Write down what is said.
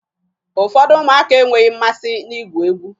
Ụfọdụ ụmụaka enweghi mmasị na-igwu egwu.